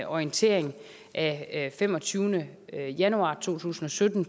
orientering af femogtyvende januar to tusind og sytten